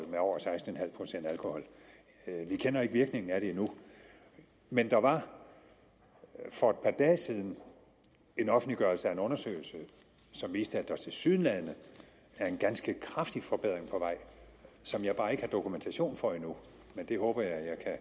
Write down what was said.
med over seksten procent alkohol vi kender ikke virkningen af det endnu men der var for et par dage siden en offentliggørelse af en undersøgelse som viste at der tilsyneladende er en ganske kraftig forbedring på vej som jeg bare ikke har dokumentation for endnu men det håber jeg at